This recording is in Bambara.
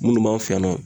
Minnu b'an fɛ yan nɔ